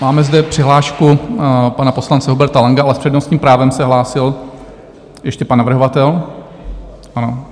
Máme zde přihlášku pana poslance Huberta Langa, ale s přednostním právem se hlásil ještě pan navrhovatel.